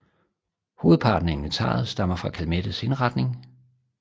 Hovedparten af inventaret stammer fra Calmettes indretning